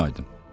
Gözün aydın!